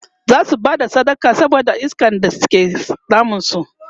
zasu Bada sadaka saboda iskan da ke damun su